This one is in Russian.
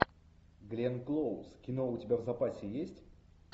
гленн клоуз кино у тебя в запасе есть